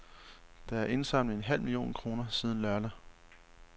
Der er indsamlet en halv million kroner siden lørdag.